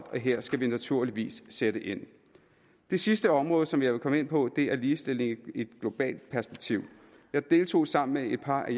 her skal vi naturligvis sætte ind det sidste område som jeg vil komme ind på er ligestilling i et globalt perspektiv jeg deltog sammen med et par